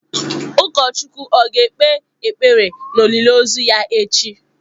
Ụkọchukwu ọ̀ ga-ekpe ekpere na olili ozu ya echi?